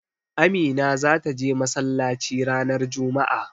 Amina zata je masallaci ranar juma'a.